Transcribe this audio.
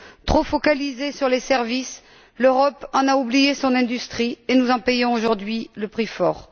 Trop focalisée sur les services, l'Europe en a oublié son industrie, et nous en payons aujourd'hui le prix fort.